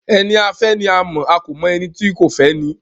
Ẹni a fẹ́ ni a mọ̀, a kò mọ ẹni tó fẹ́ ẹni.